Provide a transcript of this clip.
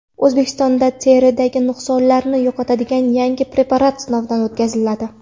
O‘zbekistonda teridagi nuqsonlarni yo‘qotadigan yangi preparat sinovdan o‘tkaziladi.